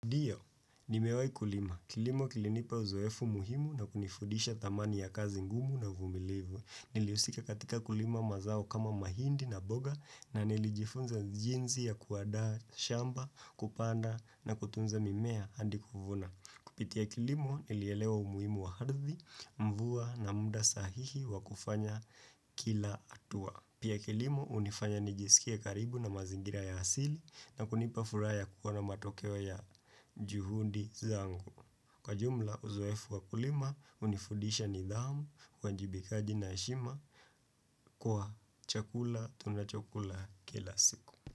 Ndio, nimewai kulima. Kilimo kilinipa uzoefu muhimu na kunifudisha thamani ya kazi ngumu na uvumilivu. Niliusika katika kulima mazao kama mahindi na mboga na nilijifunza jinsi ya kuandaa shamba, kupanda na kutunza mimea hadi kuvuna. Kupitia kilimo, nilielewa umuhimu wa ardhi, mvua na muda sahihi wa kufanya kila hatua. Pia kilimo unifanya nijisikia karibu na mazingira ya hasili na kunipa furaha kuwa na matokeo ya juhudi zangu. Kwa jumla uzoefu wakulima unifudisha nidhamu kwa uwajibikaji na heshima kwa chakula tuna chakula kila siku.